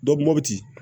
mopti